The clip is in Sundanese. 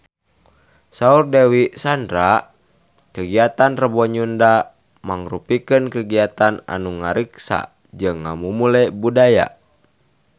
Saur Dewi Sandra kagiatan Rebo Nyunda mangrupikeun kagiatan anu ngariksa jeung ngamumule budaya Sunda